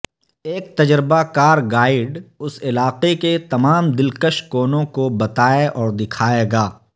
ایک تجربہ کار گائیڈ اس علاقے کے تمام دلکش کونوں کو بتائے اور دکھائے گا